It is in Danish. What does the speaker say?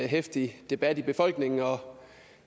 heftig debat i befolkningen og